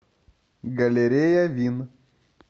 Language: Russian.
галерея вин